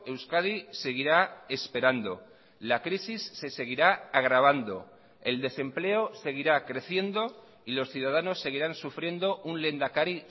euskadi seguirá esperando la crisis se seguirá agravando el desempleo seguirá creciendo y los ciudadanos seguirán sufriendo un lehendakari